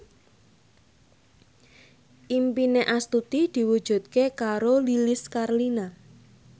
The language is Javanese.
impine Astuti diwujudke karo Lilis Karlina